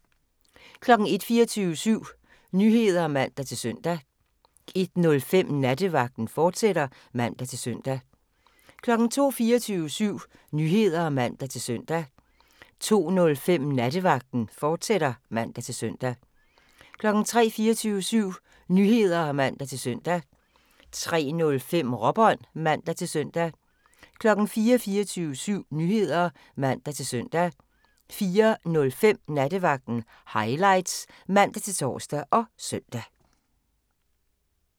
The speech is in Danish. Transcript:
01:00: 24syv Nyheder (man-søn) 01:05: Nattevagten, fortsat (man-søn) 02:00: 24syv Nyheder (man-søn) 02:05: Nattevagten, fortsat (man-søn) 03:00: 24syv Nyheder (man-søn) 03:05: Råbånd (man-søn) 04:00: 24syv Nyheder (man-søn) 04:05: Nattevagten Highlights (man-tor og søn)